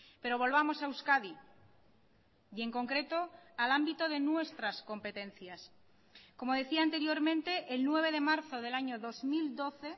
pero volvamos a euskadi y en concreto al ámbito de nuestras competencias como decía anteriormente el nueve de marzo del año dos mil doce